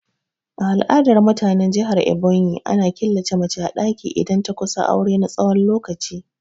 A al'adar mutanen jihar Ebonyi, ana killace mace a daki idan ta kusa aure na tsawon lokaci.